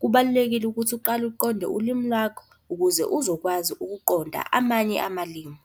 Kubalulekile ukuthi uqale uqonde ulimi lakho ukuze uzokwazi ukuqonda amanye amalimu.